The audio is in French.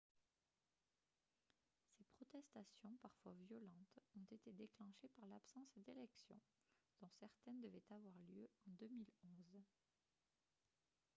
ces protestations parfois violentes ont été déclenchées par l'absence d'élections dont certaines devaient avoir lieu en 2011